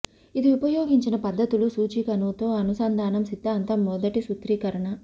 ఇది ఉపయోగించిన పద్ధతులు సూచికను తో అనుసంధానం సిద్ధాంతం మొదటి సూత్రీకరణ